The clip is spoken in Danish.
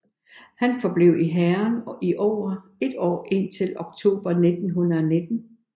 Han forblev i hæren i over et år indtil oktober 1919